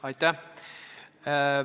Aitäh!